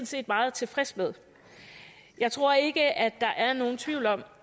set meget tilfreds med jeg tror ikke at der er nogen tvivl om